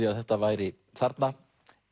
að þetta væri þarna